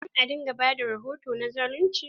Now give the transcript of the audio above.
A kullum a dinga ba da rahoto na zalunci.